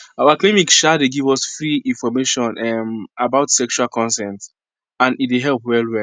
our clinic um dey give us give us free information um about sexual consent and e dey help well well